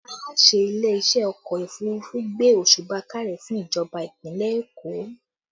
Aláṣẹ ilé iṣẹ́ ọkọ òfurufú gbé òsùbà káre fún ìjọba ìpínlẹ̀ Èkó